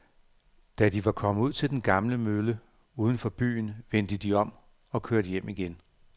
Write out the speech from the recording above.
Da de var kommet ud til den gamle mølle uden for byen, vendte de om og kørte hjem igen.